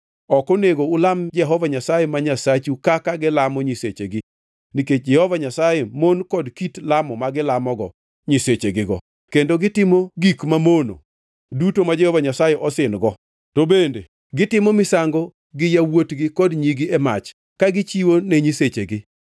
Ok onego ulam Jehova Nyasaye ma Nyasachu kaka gilamo nyisechegi, nikech Jehova Nyasaye mon gi kit lamo ma gilamogo nyisechegigo, kendo gitimo giko mamono duto ma Jehova Nyasaye osin-go. To bende gitimo misango gi yawuotgi kod nyigi e mach ka gichiwo ne nyisechegi.